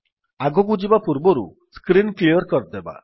ଆଗକୁ ଯିବା ପୂର୍ବରୁ ସ୍କ୍ରୀନ୍ କ୍ଲିଅର୍ କରିବା